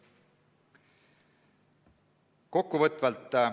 Kokkuvõtvalt.